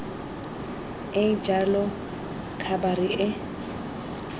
e e jalo khabara e